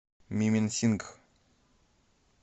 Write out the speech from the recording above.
мименсингх